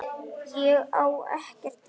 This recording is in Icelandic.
Ég á ekkert í þér!